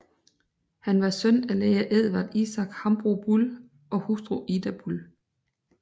Han var søn af læge Edvard Isak Hambro Bull og hustru Ida Bull